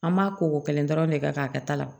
An b'a ko ko kelen dɔrɔn de kɛ k'a kɛ ta la